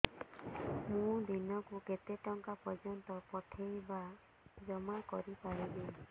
ମୁ ଦିନକୁ କେତେ ଟଙ୍କା ପର୍ଯ୍ୟନ୍ତ ପଠେଇ ବା ଜମା କରି ପାରିବି